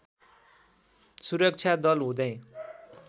सुरक्षा दल हुँदै